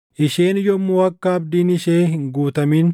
“ ‘Isheen yommuu akka abdiin ishee hin guutamin,